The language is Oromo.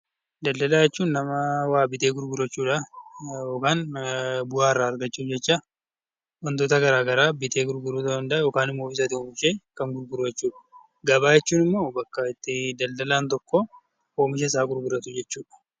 Daldalaa jechuun nama waa bitee gurguru jechuudha. Waan bu'aa irraa argachuuf jecha wantoota gara garaa bitee gurguru ta'uu danda'a yookaan immoo oomishas ta'e kan gurguru jechuudha. Gabaa jechuun immoo bakka itti daldalaan tokko oomisha isaa gurguratu jechuudha.